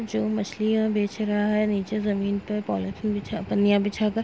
जो मछलियां बेच रहा है नीचे जमीन पे पॉलिथीन बिछा पन्नियाँ बिछाकर --